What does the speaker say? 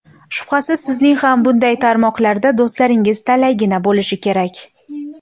Shubhasiz, sizning ham bunday tarmoqlarda do‘stlaringiz talaygina bo‘lishi kerak.